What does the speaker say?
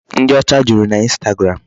Ndị ọcha juru naInstagram.